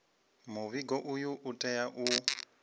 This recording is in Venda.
muvhigo uyu u tea u